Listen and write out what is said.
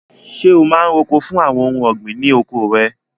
Ṣé o máa ń roko fún àwọn ohun ọ̀gbìn ní oko rẹ?